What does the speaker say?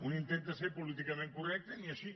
un intenta ser políticament correcte i ni així